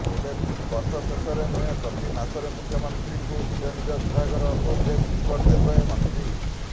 ଏବେ ବର୍ଷ ଶେଷରେ ନୁହେଁ ପ୍ରତି ମାସରେ ମୁଖ୍ୟମନ୍ତ୍ରୀଙ୍କୁ ନିଜ ନିଜ ବିଭାଗର ପ୍ରୋଗ୍ରେସ୍ ରିପୋର୍ଟ ଦେବେ ମନ୍ତ୍ରୀ